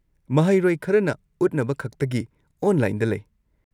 ꯃꯍꯩꯔꯣꯏ ꯈꯔꯅ ꯎꯠꯅꯕꯈꯛꯇꯒꯤ ꯑꯣꯟꯂꯥꯏꯟꯗ ꯂꯩ꯫